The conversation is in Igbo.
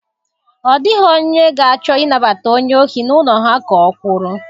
Ọ dịghị onye ga-achọ ịnabata onye ohi n'ụlọ ha ka o kwuru.